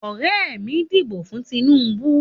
Ọ̀rẹ́ mí dìbò fún Tinubú